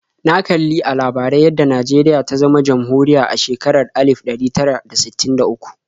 Na kali a labarai yadda Najeriya ta zama jamhuriya a shekarar alif ɗari tara da sittin da uku.